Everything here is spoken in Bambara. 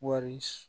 Wari